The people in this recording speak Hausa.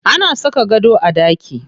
Ana saka gado a ɗaki.